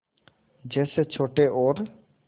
जैसे छोटे और